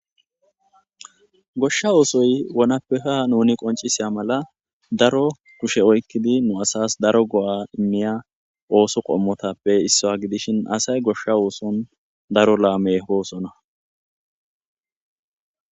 Goshsha oosoy wonappeha nuni qoncisiya mala daro kushe oykkidi nu asas daro go'a inniya ooso qommotappe issaa gidishin asay goshsha ooson daro laame hoosona